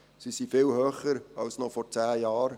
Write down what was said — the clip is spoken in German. Sie sind viel höher als noch vor zehn Jahren.